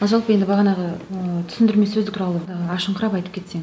жалпы енді бағанағы ыыы түсіндірме сөздік туралы ы ашыңқырап айтып кетсең